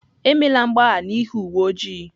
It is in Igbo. Emela mgbagha n'ihi uwe ojii!